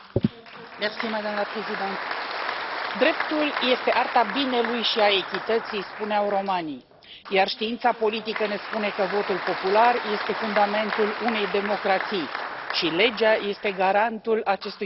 Doamnă președintă, dreptul este arta binelui și a echității, spuneau romanii, iar știința politică ne spune că votul popular este fundamentul unei democrații și legea este garantul acestui fundament.